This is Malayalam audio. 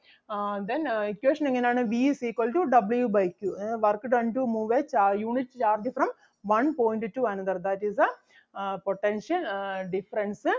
ആഹ് Then ആഹ് equation എങ്ങനാണ് V is equal to W by Q. അതായത് work done to move a ചാ~ unit charge from one point to another that is the uh potential uh difference ah